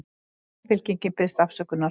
Samfylkingin biðst afsökunar